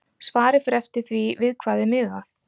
Svarið fer eftir því við hvað er miðað.